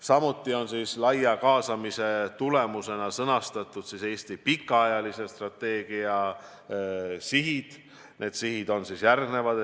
Samuti on laia kaasamise tulemusena sõnastatud Eesti pikaajalise strateegia sihid, need on järgmised.